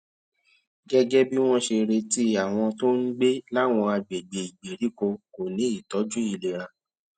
gégé bí wón ṣe retí àwọn tó ń gbé láwọn àgbègbè ìgbèríko kò ní ìtójú ìlera